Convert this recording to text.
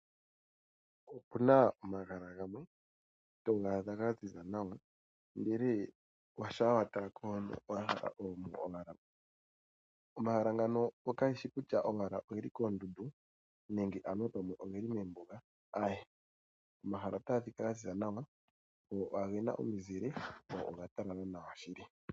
Opuna omahala ngamwe tongadha ngwanzinza nawa ndele shapa watalako hono , omahala ngano kangeshi kutya ongeli kondundu nenge anuwa pamwe ongeli mombunga awe, Omahala otangadhika nganzinza nawa ngo ongena omuzile ngo ongatalala nawa shili.